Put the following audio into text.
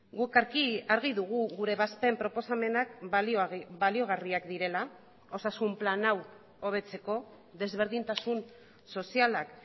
guk argi dugu gure ebazpen proposamenak baliagarriak direla osasun plan hau hobetzeko desberdintasun sozialak